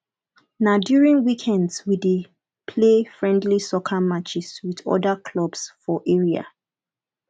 na during weekends we dey play friendly soccer matches with other clubs for area